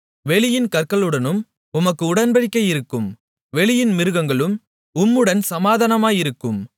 வெளியின் கற்களுடனும் உமக்கு உடன்படிக்கையிருக்கும் வெளியின் மிருகங்களும் உம்முடன் சமாதானமாயிருக்கும்